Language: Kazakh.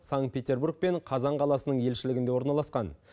санкт петербург пен қазан қаласының елшілігінде орналасқан